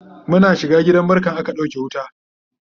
Muna shiga gidan barkan aka ɗauke wuta